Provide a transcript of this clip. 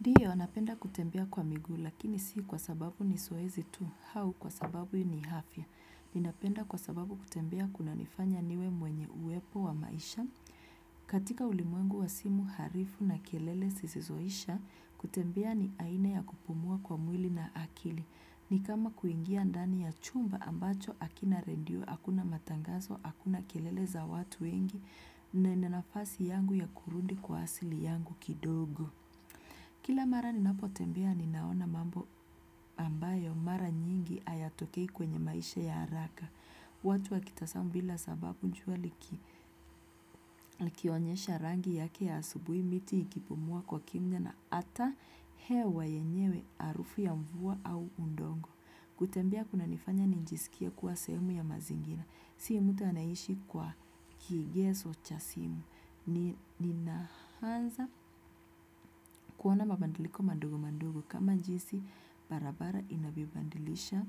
Ndiyo, anapenda kutembea kwa miguu, lakini si kwa sababu ni zoezi tu, au kwa sababu ni afya. Ninapenda kwa sababu kutembea kunanifanya niwe mwenye uwepo wa maisha. Katika ulimwengu wa simu harifu na kelele sisizoisha, kutembea ni aina ya kupumua kwa mwili na akili. Ni kama kuingia ndani ya chumba ambacho hakina redio, hakuna matangazo, hakuna kelele za watu wengi, na ina nafasi yangu ya kurudi kwa asili yangu kidogo. Kila mara ninapotembea ninaona mambo ambayo mara nyingi hayatokei kwenye maisha ya haraka. Watu wa kitasamu bila sababu jua liki kionyesha rangi yake ya asubuhi miti ikipumua kwa kimya na ata hewa yenyewe harufu ya mvua au udongo. Kutembea kunanifanya nijisikie kuwa sehumu ya mazingira. Si mtu anaishi kwa kigezo cha simu. Ninaanza kuona mabadiliko madogo madgo. Kama jinsi barabara inavyobadilisha